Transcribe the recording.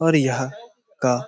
और यहाँ का --